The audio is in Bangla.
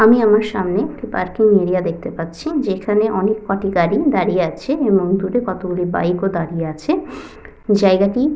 আমি আমার সামনে একটি পার্কিং এরিয়া দেখতে পাচ্ছি যেখানে অনেককটি গাড়ি দাঁড়িয়ে আছে এবং দূরে কতগুলো বাইক - ও দাঁড়িয়ে আছে জায়গাটি --